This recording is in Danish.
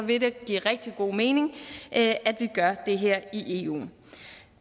vil det give rigtig god mening at vi gør det her i eu